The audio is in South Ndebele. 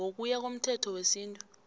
ngokuya komthetho wesintu